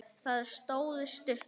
Það stóð stutt.